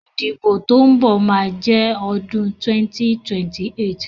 Ìdìbò tó ń bọ̀ ma jẹ́ ọdún 2028